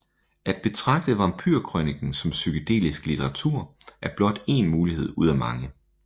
At betragte vampyrkrøniken som psykedelisk litteratur er blot én mulighed ud af mange